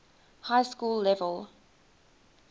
high school level